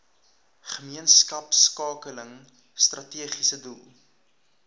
gemeenskapskakeling strategiese doel